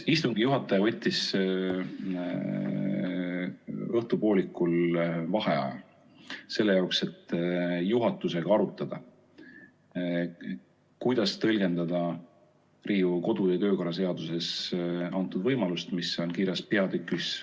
Istungi juhataja võttis õhtupoolikul vaheaja selle jaoks, et juhatusega arutada, kuidas tõlgendada Riigikogu kodu- ja töökorra seaduses antud võimalust, mis on kirjas peatükis ...